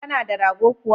Kana da rago kuwa?